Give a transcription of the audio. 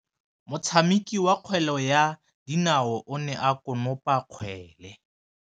Motshameki wa kgwele ya dinaô o ne a konopa kgwele.